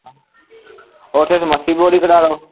ਓਥੇ ਤੇ ਮਸੀ ਬੋਰ ਹੀਂ ਕਰਾਦੋ